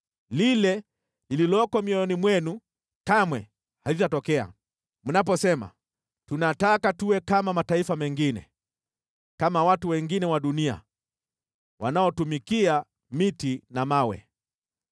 “ ‘Lile lililoko mioyoni mwenu kamwe halitatokea, mnaposema, “Tunataka tuwe kama mataifa mengine, kama watu wengine wa dunia, wanaotumikia miti na mawe.”